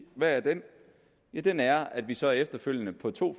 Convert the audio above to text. ja den ja den er at vi så efterfølgende på to